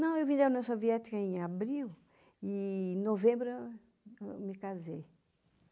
Não, eu vim da União Soviética em abril e em novembro eu me casei.